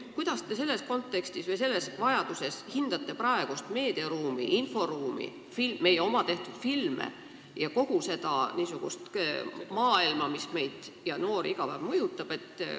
Kuidas te selles kontekstis hindate praegust meedia- ja inforuumi – meie enda tehtud filme ja kogu niisugust maailma –, mis meid, sh noori, iga päev mõjutab?